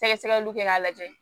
Sɛgɛsɛgɛliw kɛ k'a lajɛ